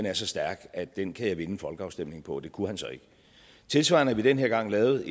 er så stærk at den kan jeg vinde en folkeafstemning på det kunne han så ikke tilsvarende har vi den her gang lavet